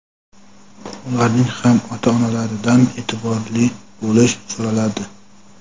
Ularning ham ota-onalaridan e’tiborli bo‘lish so‘raladi.